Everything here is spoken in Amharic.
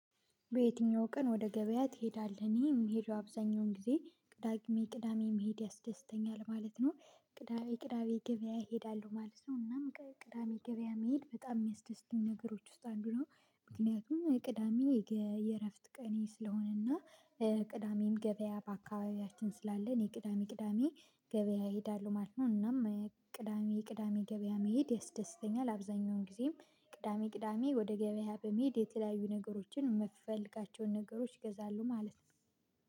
በየትኛው ቀን ወደ ገበያ ትሄዳለህ እኔ የምሄደው አብዛኛውን ጊዜ ቅዳሜ ቅዳሜ መሄድ ያስደስተኛል ማለት ነው ቅዳሜ ቅዳሜ ገበያ እሄዳለሁ ማለት ነው። እናም ቅዳሜ ገበያ መሄድ በጣም የሚያስደስተኝ ነገሮች ውስጥ አንዱ ነው ምክንያቱም ቅዳሜ የእረፍት ቀኔ ስለሆነና ቅዳሜም ገበያ በአካባቢያችን ስላለ እኔ ቅዳሜ ቅዳሜ ገበያ እሄዳለሁ ማለት ነው እናም ቅዳሜ ቅዳሜ ገበያ መሄድ ያስደስተኛል አብዛኛውን ጊዜም ቅዳሜ ቅዳሜ ወደ ገበያ በመሄድ የተለያዩ ነገሮችን የምፈልጋቸውን ነገሮች እገዛለሁ ማለት ነው